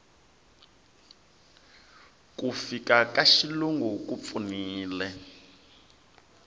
ku fika ka xilungu ku pfunile